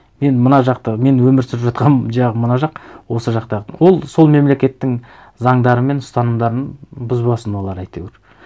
мен мына жақта мен өмір сүріп жатқан жағым мына жақ осы жақта ол сол мемлекеттің заңдары мен ұстанымдарын бұзбасын олар әйтеуір